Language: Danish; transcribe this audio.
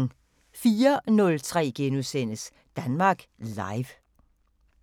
04:03: Danmark Live *